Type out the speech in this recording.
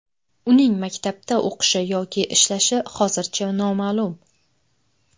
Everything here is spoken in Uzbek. Uning maktabda o‘qishi yoki ishlashi hozircha noma’lum.